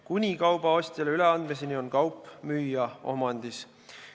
Kuni kauba ostjale üleandmiseni on kaup müüja omandis.